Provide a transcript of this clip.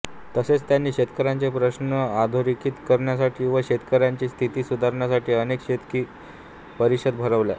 तसेच त्यांनी शेतकऱ्यांचे प्रश्र्न अधोरेखित करण्यासाठी व शेतकऱ्यांची स्थिती सुधारण्यासाठी अनेक शेतकी परिषदा भरवल्या